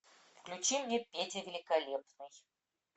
включи мне петя великолепный